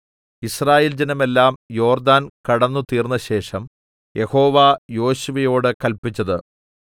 യിസ്രായേൽ ജനമെല്ലാം യോർദ്ദാൻ കടന്നുതീർന്നശേഷം യഹോവ യോശുവയോട് കല്പിച്ചത്